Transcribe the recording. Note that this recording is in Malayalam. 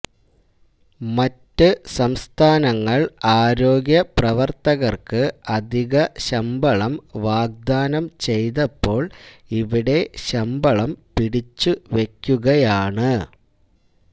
മറ്റു സംസ്ഥാനങ്ങള് ആരോഗ്യ പ്രവര്ത്തകര്ക്ക് അധിക ശമ്പളം വാഗ്ദാനം ചെയ്തപ്പോള് ഇവിടെ ശമ്പളം പിടിച്ചു വെക്കുകയാണ്